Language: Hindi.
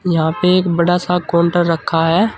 यहां पे एक बड़ा सा काउंटर रखा है।